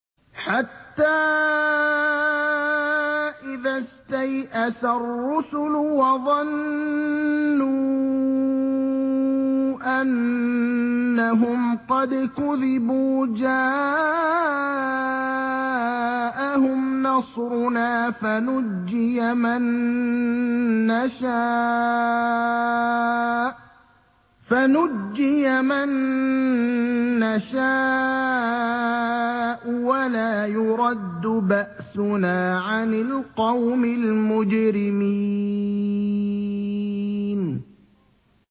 حَتَّىٰ إِذَا اسْتَيْأَسَ الرُّسُلُ وَظَنُّوا أَنَّهُمْ قَدْ كُذِبُوا جَاءَهُمْ نَصْرُنَا فَنُجِّيَ مَن نَّشَاءُ ۖ وَلَا يُرَدُّ بَأْسُنَا عَنِ الْقَوْمِ الْمُجْرِمِينَ